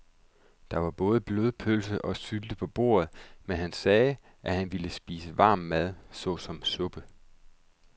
Der var både blodpølse og sylte på bordet, men han sagde, at han bare ville spise varm mad såsom suppe.